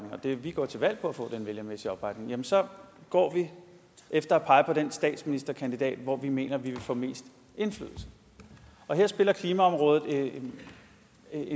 vi går til valg på at få den vælgermæssige opbakning så går vi efter at pege på den statsministerkandidat hvor vi mener vi vil få mest indflydelse her spiller klimaområdet en